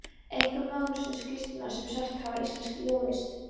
einhverjar mögnuðustu skírskotanir sem sést hafa í íslenskri ljóðlist